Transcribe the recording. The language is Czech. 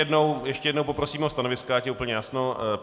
Ještě jednou poprosím o stanoviska, ať je úplně jasno.